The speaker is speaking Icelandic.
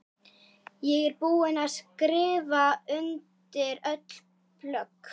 Ég er búin að skrifa undir öll plögg.